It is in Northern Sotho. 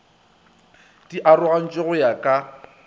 di arogantšwe go ya ka